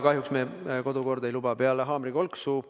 Kahjuks meie kodukord ei luba seda peale haamrikolksu.